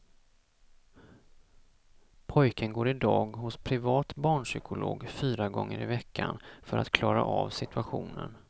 Pojken går i dag hos privat barnpsykolog fyra gånger i veckan för att klara av situationen.